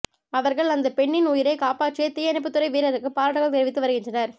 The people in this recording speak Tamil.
அவர்கள் அந்த பெண்ணின் உயிரை காப்பாற்றிய தீயணைப்புத்துறை வீரருக்கு பாராட்டுகள் தெரிவித்து வருகின்றனர்